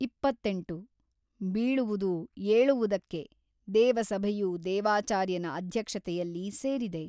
ಇಪ್ಪತ್ತೆಂಟು ಬೀಳುವುದು ಏಳುವುದಕ್ಕೆ ದೇವಸಭೆಯು ದೇವಾಚಾರ್ಯನ ಅಧ್ಯಕ್ಷತೆಯಲ್ಲಿ ಸೇರಿದೆ.